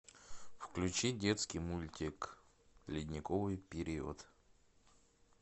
включи детский мультик ледниковый период